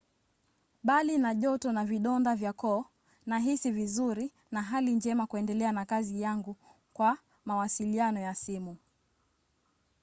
"bali na joto na vidonda vya koo nahisi vizuri na hali njema kuendelea na kazi yangu kwa mawasiliano ya simu